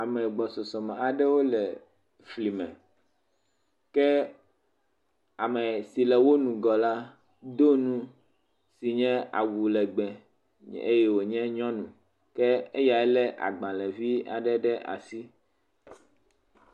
ame gbɔsɔsɔ aɖewo le flìme ke amesi le wó ŋgɔ la dóŋu nye awulegbe eye wòle eyae le agbãle vi aɖe ɖe asi